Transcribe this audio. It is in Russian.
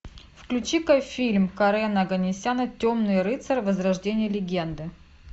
включи ка фильм карена оганесяна темный рыцарь возрождение легенды